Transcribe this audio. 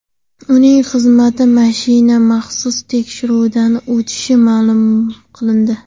Uning xizmat mashinasi maxsus tekshiruvdan o‘tishi ma’lum qilindi.